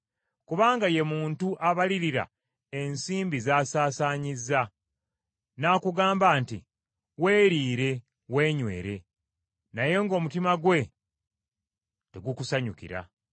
Kubanga ye muntu abalirira ensimbi z’asaasaanyizza, n’akugamba nti, “Weeriire, weenywere,” naye ng’omutima gwe tegukusanyukira.